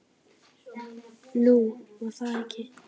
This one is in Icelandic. Nú, var það ekki?